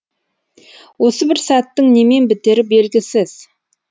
осы бір сәттің немен бітері белгісіз